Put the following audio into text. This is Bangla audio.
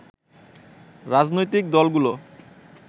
রাজনৈতিক দলগুলো